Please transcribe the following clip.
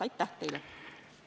Aitäh teile!